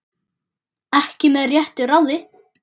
Ekki með réttu ráði?